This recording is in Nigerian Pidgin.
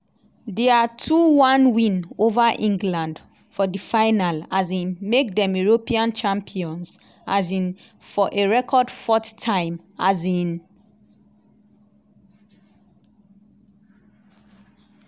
dia two one win ova england for di final um make dem european champions um for a record fourth time. um